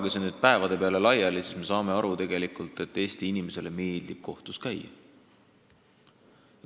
Jagage see päevade peale laiali, ja me saame aru, et Eesti inimestele tegelikult meeldib kohtus käia.